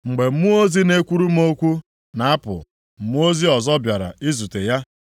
Mgbe mmụọ ozi na-ekwuru m okwu na-apụ, mmụọ ozi ọzọ bịara izute ya,